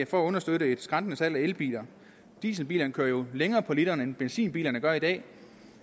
for at understøtte et skrantende salg af elbiler dieselbilerne kører jo længere på literen end benzinbilerne gør i dag